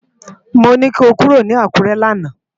Mó ni kó kúró ni Akure làná